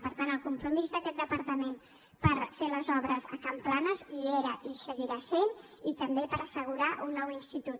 per tant el compromís d’aquest departament de fer les obres a can planas hi era i hi seguirà sent i també per assegurar un nou institut